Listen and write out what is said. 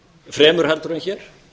fremur en hér